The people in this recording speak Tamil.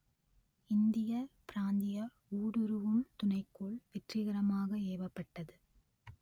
இந்திய பிராந்திய ஊடுருவும் துணைக்கோள் வெற்றிகரமாக ஏவப்பட்டது